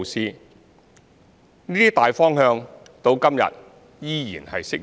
這些大方向至今依然適用。